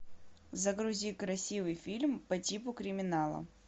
загрузи красивый фильм по типу криминала